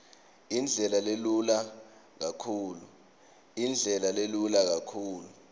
indlela lelula kakhulu